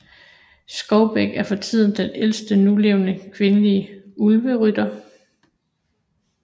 Skovbæk er for tiden den ældste nulevende kvindelige Ulverytter